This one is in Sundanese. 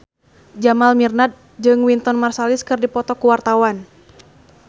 Jamal Mirdad jeung Wynton Marsalis keur dipoto ku wartawan